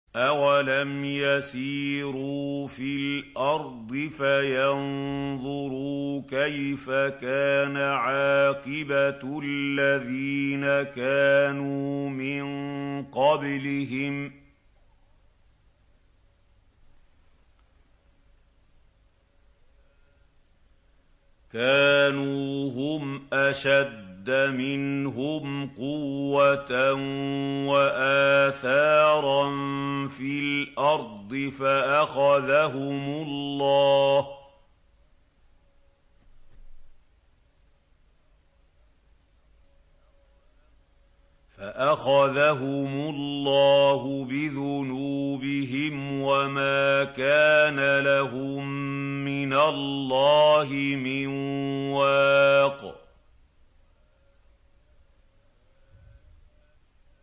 ۞ أَوَلَمْ يَسِيرُوا فِي الْأَرْضِ فَيَنظُرُوا كَيْفَ كَانَ عَاقِبَةُ الَّذِينَ كَانُوا مِن قَبْلِهِمْ ۚ كَانُوا هُمْ أَشَدَّ مِنْهُمْ قُوَّةً وَآثَارًا فِي الْأَرْضِ فَأَخَذَهُمُ اللَّهُ بِذُنُوبِهِمْ وَمَا كَانَ لَهُم مِّنَ اللَّهِ مِن وَاقٍ